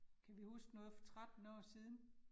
Kan vi huske noget for 13 år siden?